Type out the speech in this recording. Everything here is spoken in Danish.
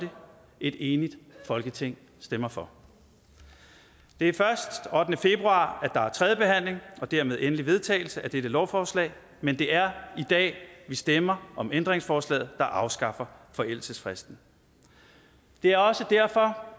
et enigt folketing stemmer for det er først den ottende februar der er tredjebehandling og dermed endelig vedtagelse af dette lovforslag men det er i dag vi stemmer om ændringsforslaget der afskaffer forældelsesfristen det er også derfor